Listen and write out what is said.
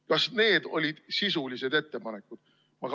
Kas need olid sisulised ettepanekud?